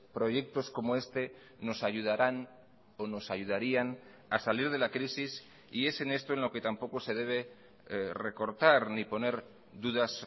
proyectos como este nos ayudarán o nos ayudarían a salir de la crisis y es en esto en lo que tampoco se debe recortar ni poner dudas